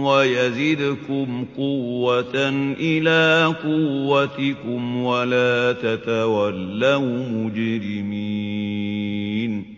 وَيَزِدْكُمْ قُوَّةً إِلَىٰ قُوَّتِكُمْ وَلَا تَتَوَلَّوْا مُجْرِمِينَ